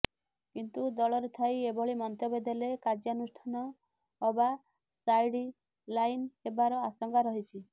କିନ୍ତୁ ଦଳରେ ଥାଇ ଏଭଳି ମନ୍ତବ୍ୟ ଦେଲେ କାର୍ଯ୍ୟାନୁଷ୍ଠାନ ଅବା ସାଇଡଲାଇନ୍ ହେବାର ଆଶଙ୍କା ରହିଛି